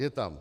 Je tam.